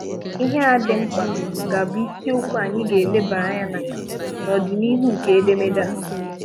Ihe a dị mkpa ga-abụ isiokwu anyị ga-elebara anya na ya n’ọdịnihu nke edemede a.